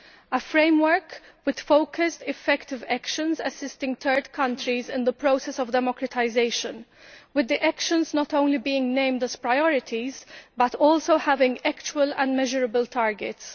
a framework with focused, effective actions assisting third countries in the process of democratisation, with the actions not only being named as priorities but also having actual and measurable targets.